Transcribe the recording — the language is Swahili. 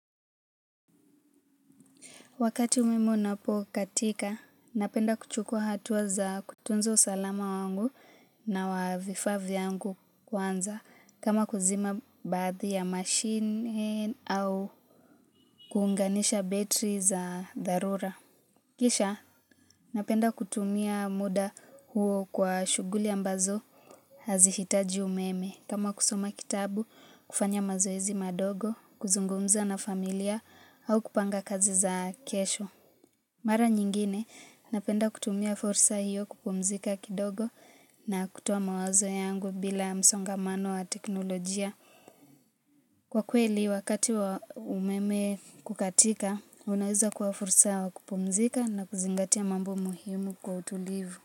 Wakati umeme unapo katika, napenda kuchukua hatuwa za kutunza usalama wangu na wafaa vyangu kwanza kama kuzima baadhi ya mashine au kuunganisha betri za dharura. Kisha, napenda kutumia muda huo kwa shuguli ambazo hazihitaji umeme kama kusoma kitabu, kufanya mazoezi madogo, kuzungumza na familia au kupanga kazi za kesho. Mara nyingine, napenda kutumia fursa hiyo kupumzika kidogo na kutoa mawazo yangu bila msongamano wa teknolojia. Kwa kweli, wakati wa umeme kukatika, unaweza kua fursa wa kupumzika na kuzingatia mambo muhimu kwa utulivu.